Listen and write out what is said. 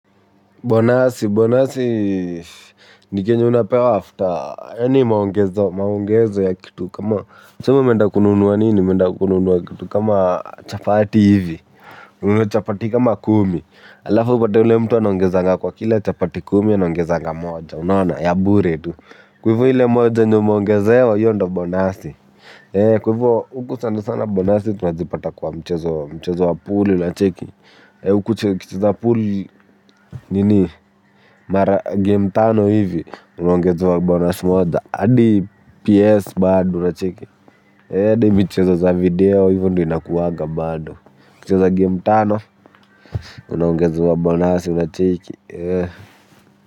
Bonasi, bonasi, ni kenye unapewa after, yaani maongezo ya kitu kama, tuseme umeenda kununua nini, umeenda kununua kitu kama chapati hivi, ununue chapati kama kumi, alafu uptea ule mtu anongezanga kwa kila chapati kumi anongezanga moja, unaona, ya bure tu, kwa hivo ile moja yenye umeongezewa hiyo ndio bonasi, kwa hivo huku sana sana bonasi tunazipata kwa mchezo, mchezo wa pool na cheki, hio kucheza pool nini. Mara game tano hivi unaongezwa bonus moda hadi PS bado unacheki hadi michezo za video. Hivo ndio inakuwanga bado ukicheza game tano. Unaongezewa bonus unacheki.